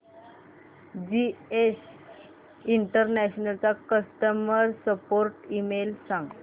GS international चा customer support email सांग